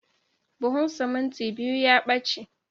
Buhun simintin biyu ya ɓace